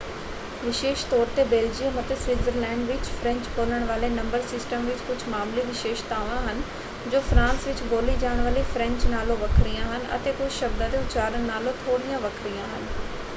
ਵਿਸ਼ੇਸ਼ ਤੌਰ 'ਤੇ ਬੈਲਜੀਅਮ ਅਤੇ ਸਵਿਟਜ਼ਰਲੈਂਡ ਵਿੱਚ ਫ੍ਰੈਂਚ-ਬੋਲਣ ਵਾਲੇ ਨੰਬਰ ਸਿਸਟਮ ਵਿੱਚ ਕੁਝ ਮਾਮੂਲੀ ਵਿਸ਼ੇਸ਼ਤਾਵਾਂ ਹਨ ਜੋ ਫਰਾਂਸ ਵਿੱਚ ਬੋਲੀ ਜਾਣ ਵਾਲੀ ਫ੍ਰੈਂਚ ਨਾਲੋਂ ਵੱਖਰੀਆਂ ਹਨ ਅਤੇ ਕੁਝ ਸ਼ਬਦਾਂ ਦੇ ਉਚਾਰਨ ਨਾਲੋਂ ਥੋੜ੍ਹੀਆਂ ਵੱਖਰੀਆਂ ਹਨ।